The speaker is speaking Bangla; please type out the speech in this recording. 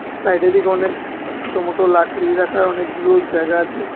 সাইডের দিকে অনেক ছোট মটো লাকড়ি রাখার অনেকগুলো জায়গা আছে।